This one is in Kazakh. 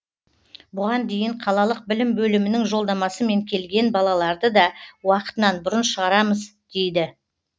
бұған дейін қалалық білім бөлімінің жолдамасымен келген балаларды да уақытынан бұрын шығарамыз дейді